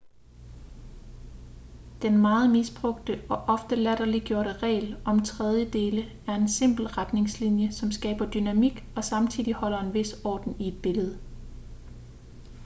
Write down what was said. den meget misbrugte og ofte latterliggjorte regel om tredjedele er en simpel retningslinje som skaber dynamik og samtidig holder en vis orden i et billede